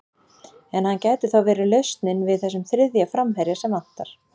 En hann gæti þá verið lausnin við þessum þriðja framherja sem vantar?